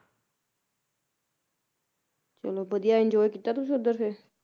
ਚਲੋ ਵਧੀਆ enjoy ਕੀਤਾ ਤੁਸੀ ਉਧਰ ਫੇਰ